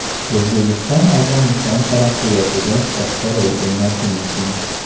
O‘zbekiston Afg‘oniston taraqqiyotida katta rol o‘ynashi mumkin.